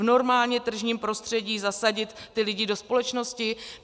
V normálně tržním prostředí zasadit ty lidi do společnosti?